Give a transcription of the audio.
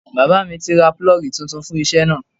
Bàbá mi ti ra 'Púlọ́gì' titun fún isẹ́ náà